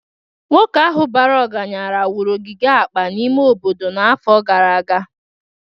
Nwoke ahụ bara ọgaranya wuru ogige akpa n'ime obodo n'afọ gara aga